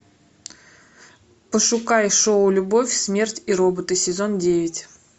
пошукай шоу любовь смерть и роботы сезон девять